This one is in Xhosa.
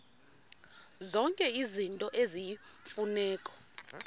zonke izinto eziyimfuneko